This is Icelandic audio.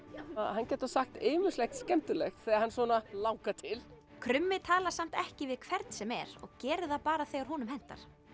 hann getur sagt ýmislegt skemmtilegt þegar hann langar til krummi talar samt ekki við hvern sem er og gerir það bara þegar honum hentar